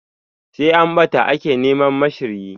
Sai an ɓata ake neman ma shiryi.